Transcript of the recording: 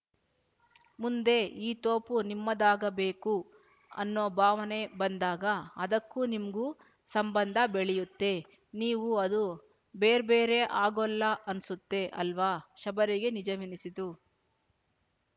ಮುಂದೆ ಈ ತೋಪು ನಿಮ್ಮದಾಗಬೇಕು ಅನ್ನೋಭಾವನೆ ಬಂದಾಗ ಅದಕ್ಕೂ ನಿಮ್ಗೂ ಸಂಬಂಧ ಬೆಳ್ಯುತ್ತೆ ನೀವು ಅದೂ ಬೇರ್‍ಬೇರೆ ಆಗೊಲ್ಲ ಅನ್ಸುತ್ತೆ ಅಲ್ವಾ ಶಬರಿಗೆ ನಿಜವೆನ್ನಿಸಿತು